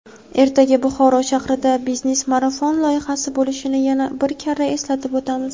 ertaga Buxoro shahrida "Biznes marafon" loyihasi bo‘lishini yana bir karra eslatib o‘tamiz.